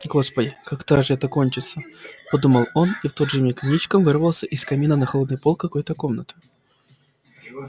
господи когда же это кончится подумал он и в тот же миг ничком вывалился из камина на холодный пол какой-то комнаты